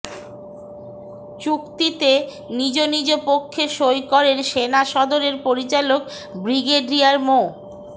চুক্তিতে নিজ নিজ পক্ষে সই করেন সেনা সদরের পরিচালক ব্রিগেডিয়ার মো